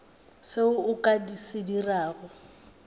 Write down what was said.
seo o ka se dirago